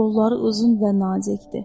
Qolları uzun və nazikdi.